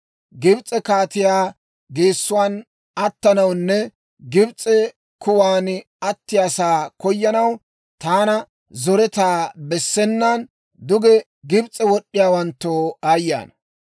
Gibs'e kaatiyaa geessuwaan attanawunne Gibs'e kuwan attiyaasaa koyanaw, taana zoretaa bessenaan, duge Gibs'e wod'd'iyaawanttoo aayye ana!